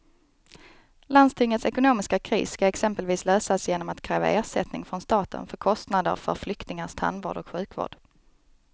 Landstingets ekonomiska kris ska exempelvis lösas genom att kräva ersättning från staten för kostnader för flyktingars tandvård och sjukvård.